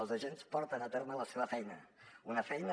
els agents porten a terme la seva feina una feina